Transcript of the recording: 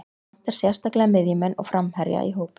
Mig vantar sérstaklega miðjumenn og framherja í hópinn.